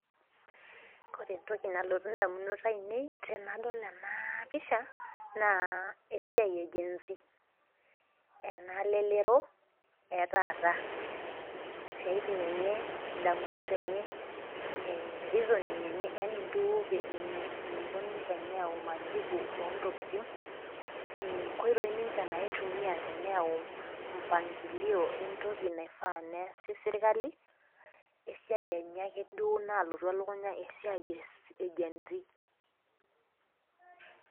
Ore entoki nalotu indamunot ainei tenadol enapisha naa esiai egenz, enalelero etaata , siatin enye , ndamunot enye reasoning enye yani eniko duo ninche tenetum majibu ontokitin , nkoitoi ninche teneyau mpangilio entoki naifaa neasi sirkali , esiai enye ake duo nalotu elukunya , esiai egenz.